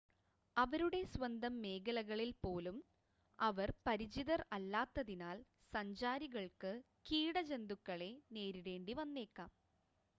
അവരുടെ സ്വന്തം മേഖലകളിൽ പോലും അവർ പരിചിതർ അല്ലാത്തതിനാൽ സഞ്ചാരികൾക്ക് കീട ജന്തുക്കളെ നേരിടേണ്ടിവന്നേക്കാം